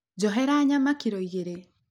Njohera nyama kiro igĩrĩ.